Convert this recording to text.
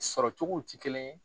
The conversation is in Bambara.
Sɔrɔ cogow ti kelen ye